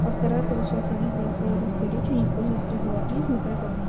постарайся вот сейчас следить за своей русской речи не использовать фразеологизм так как